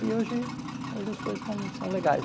E hoje hoje as coisas estão são legais.